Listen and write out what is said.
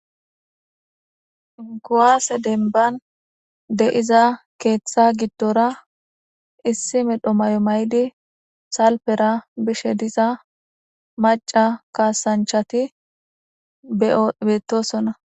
Kuwase dembani de'za keetha gidora issi medho mayo mayidi salpera bishe diza maca kasanchati betosona.